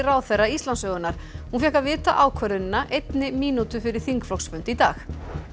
ráðherra Íslandssögunnar hún fékk að vita ákvörðunina einni mínútu fyrir þingflokksfund í dag